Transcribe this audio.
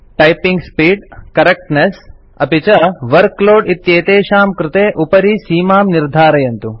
typing speed correctness अपि च workload इत्येतेषां कृते उपरि सीमां निर्धरन्तु